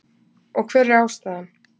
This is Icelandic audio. Og hver er ástæðan?